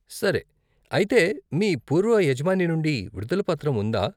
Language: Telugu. సరే, అయితే మీ పూర్వ యజమాని నుండి విడుదల పత్రం ఉందా?